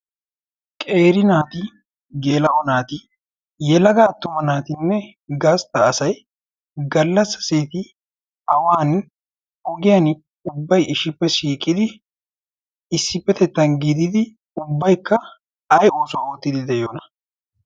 qeeri naati geela'o naati yelaga attuma naatinne gaastta asai gallassa seeti awan ogiyan ubbay ishippe shiiqidi issippetettan giididi ubbaikka ay oosuwaa oottidi de'yoona?